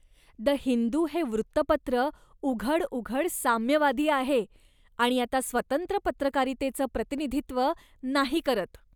The Hindu हे वृत्तपत्र उघडउघड साम्यवादी आहे आणि आता स्वतंत्र पत्रकारितेचं प्रतिनिधित्व नाही करत.